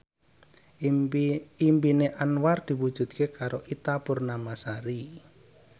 impine Anwar diwujudke karo Ita Purnamasari